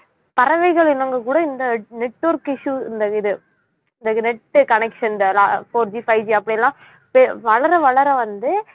பறவைகள் இனங்கள் கூட இந்த network issue இந்த இது இந்த net connection இந்த லா~ 4G 5G அப்படிலாம் த~ வளர வளர வந்து